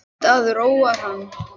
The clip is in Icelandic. Veit að það róar hann.